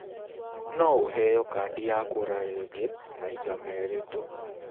No ũheo kandi ya kura rĩngĩ maita merĩ tu.